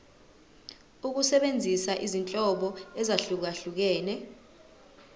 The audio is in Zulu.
ukusebenzisa izinhlobo ezahlukehlukene